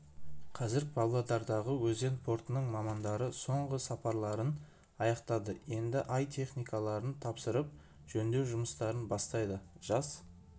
қазір павлодардағы өзен портының мамандары соңғы сапарларын аяқтады енді ай техникаларын тапсырып жөндеу жұмыстарын бастайды жас